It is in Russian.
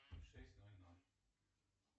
шесть ноль ноль